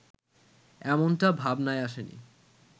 এমনটা ভাবনায় আসেনি